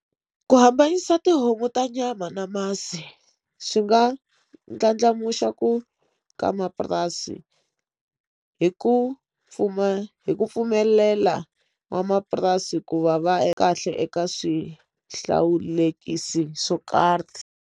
Ku hambanyisa tihomu ta nyama na masi swi nga ndlandlamuxa ku ka mapurasi hi ku pfuna hi ku pfumelela n'wamapurasi ku va va kahle eka swihlawulekisi swo karhi.